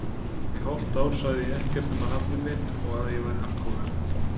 Í hálft ár sagði ég ekkert nema nafnið mitt og að ég væri alkohólisti.